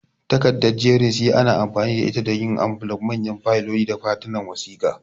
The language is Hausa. Takarda jerin C ana amfani da ita don yin ambulaf, manyan fayiloli, da katunan wasiƙa.